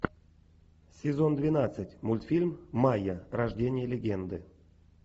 сезон двенадцать мультфильм майя рождение легенды